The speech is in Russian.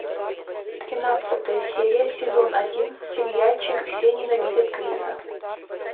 тринадцатая серия сезон один сериальчик все ненавидят криса